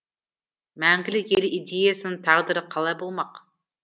мәңгілік ел идеясының тағдыры қалай болмақ